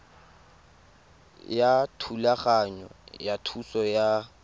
ya thulaganyo ya thuso ya